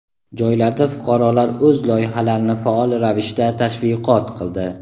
Joylarda fuqarolar o‘z loyihalarini faol ravishda tashviqot qildi.